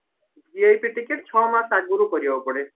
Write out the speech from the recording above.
VIP ticket ଛ ମାସ ଆଗରୁ କରିବାକୁ ପଡେ